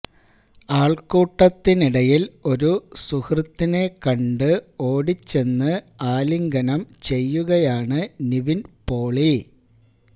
ആൾക്കൂട്ടത്തിനിടയിൽ ഒരു സുഹൃത്തിനെ കണ്ട് ഓടിച്ചെന്നു ആലിംഗനം ചെയ്യുകയാണ് നിവിൻ പോളി